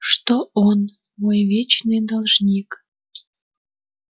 что он мой вечный должник